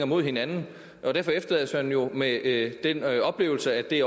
mod hinanden og derfor efterlades man jo med den oplevelse at det